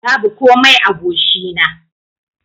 Babu komai a goshi na.